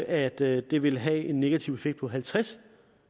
at det det vil have en negativ effekt på halvtreds